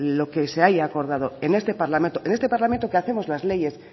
lo que se haya acordado en este parlamento en esta parlamento que hacemos las leyes